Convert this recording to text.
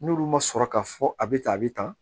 N'olu ma sɔrɔ ka fɔ a bɛ tan a bɛ tan